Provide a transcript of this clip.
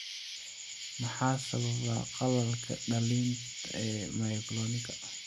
Maxaa sababa qallalka dhallinta ee myoclonika?